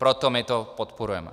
Proto my to podporujeme.